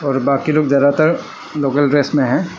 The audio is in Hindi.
और बाकी लोग जदातार लोकल ड्रेस में है।